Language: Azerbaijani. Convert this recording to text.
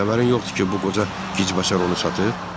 Bəs xəbərin yoxdur ki, bu qoca gicbəşər onu satıb?